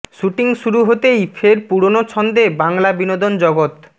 shooting শুরু হতেই ফের পুরনো ছন্দে বাংলা বিনোদন জগৎ